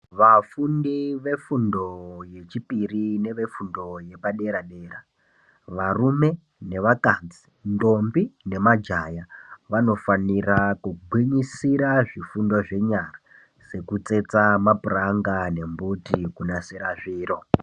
Vafundi vefundo yechipiri nevefundo yepadera dera varume nevakadzi, ndombi nemajaya vanofanira kugwinyisira zvifundo zvenyara sekutsetsa mapuranga nembiti kunasira zviro.